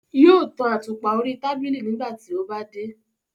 Yóò tan àtùpà orí tábìlì nígbà tí ó bá dé.